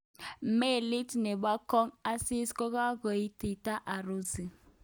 Melit nebo kong' asis kokagoitita Urusi.